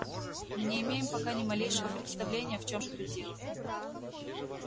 мы не имеем пока ни малейшего представления в чём же тут дело